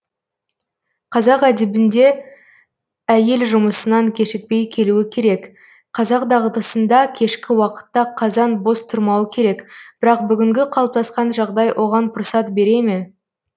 қазақ әдебінде әйел жұмысынан кешікпей келуі керек қазақ дағдысында кешкі уақытта қазан бос тұрмауы керек бірақ бүгінгі қалыптасқан жағдай оған пұрсат бере ме